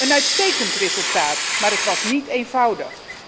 Een uitstekend resultaat, maar het was niet eenvoudig.